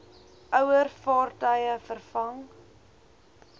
ouer vaartuie vervang